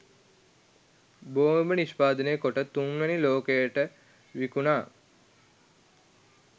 බෝම්බ නිෂ්පාදනය කොට තුන්වෙනි ලෝකයට විකුනා